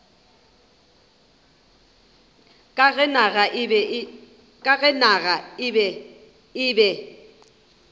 ka ge naga e be